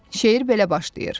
Şeir belə başlayır: